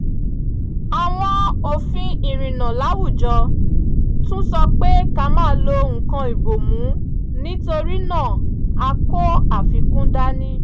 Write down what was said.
àwọn òfin ìrìnnà láwùjọ tún sọ pé ká máa lo nǹkan ìbomú nítorí náà a kó àfikún dání